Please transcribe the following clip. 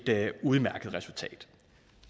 udmærket resultat